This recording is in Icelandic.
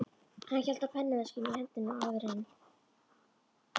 Hann hélt á pennaveskinu í hendinni og áður en